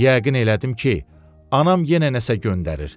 Yəqin elədim ki, anam yenə nəsə göndərir.